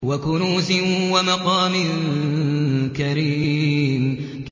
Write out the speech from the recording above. وَكُنُوزٍ وَمَقَامٍ كَرِيمٍ